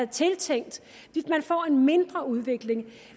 tiltænkt de får en mindre udvikling